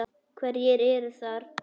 Hverjir eru þar?